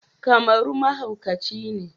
Kamaru mahauci ne